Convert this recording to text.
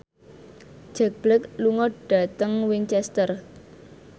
Jack Black lunga dhateng Winchester